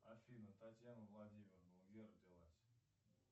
афина татьяна владимировна где родилась